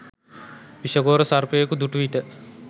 විෂගෝර සර්පයකු දුටුවිට